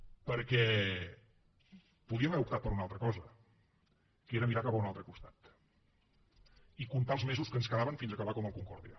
perquè podíem haver optat per una altra cosa que era mirar cap a un altre costat i comptar els mesos que ens quedaven fins a acabar com el concordia